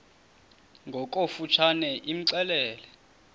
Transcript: ngokofu tshane imxelele